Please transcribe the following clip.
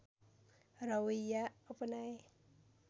रवैया अपनाए